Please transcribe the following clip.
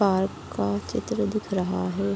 Park का चित्र दिख रहा है।